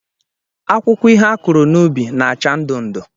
Akwụkwọ ihe a kụrụ n'ubi na-acha ndụ ndụ